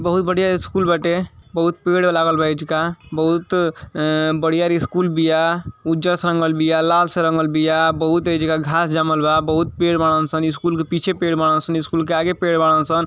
बहुत बड़िया स्कूल बाटे बहुत पेड़ लागल बा एजुगा बहुत ए-ए बडियार स्कूल बिआ उज्जल से रंगल बिया बीआ लाल से रंगल बिया बहुत एजुगा घांस जामल वा बहुत पेड़ बाड़न स स्कूल के पीछे पेड़ बाड़न स स्कूल के आगे पेड़ बाड़न स।